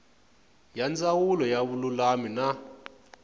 ya ndzawulo ya vululami na